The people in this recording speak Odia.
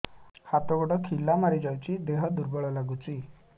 ହାତ ଗୋଡ ଖିଲା ମାରିଯାଉଛି ଦେହ ଦୁର୍ବଳ ଲାଗୁଚି